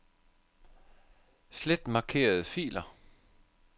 Slet markerede filer.